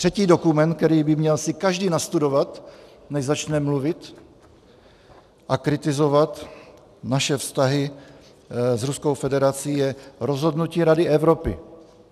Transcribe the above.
Třetí dokument, který by si měl každý nastudovat, než začne mluvit a kritizovat naše vztahy s Ruskou federací, je rozhodnutí Rady Evropy.